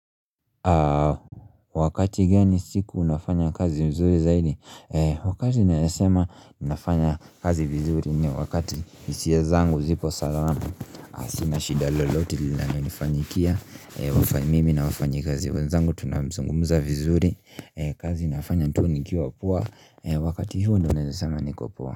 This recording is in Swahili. Wakati gani siku unafanya kazi vizuri zaidi wakati naeza sema unafanya kazi vizuri ni wakati hisia zangu zipo salamansina shida lolote linalonifanyikia mimi na wafanyikazi wenzangu tunazungumuza vizuri kazi nafanya tu nikiwa poa wakati hiyo ndio naeza sema niko poa.